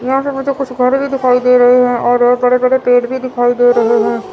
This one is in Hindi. यहां से मुझे कुछ घर भी दिखाई दे रहे हैं और बड़े बड़े पेड़ भी दिखाई दे रहे हैं।